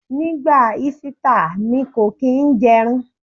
Ní ìgbà Ísítà, mi kò kín ń jẹ́ ẹran.